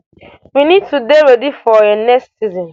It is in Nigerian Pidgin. we need to dey ready for um next season